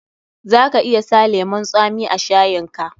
Za ka iya sa lemun tsami a shayin ka.